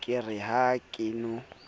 ke re ha ke no